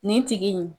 Nin tigi in